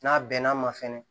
N'a bɛnn'a ma fɛnɛ